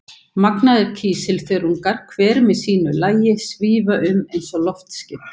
Magnaðir kísilþörungar, hver með sínu lagi, svífa um eins og loftskip.